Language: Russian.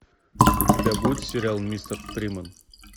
у тебя будет сериал мистер фриман